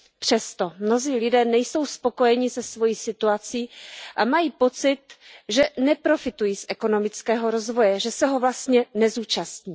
Přesto, mnozí lidé nejsou spokojeni se svou situací a mají pocit, že neprofitují z ekonomického rozvoje, že se ho vlastně neúčastní.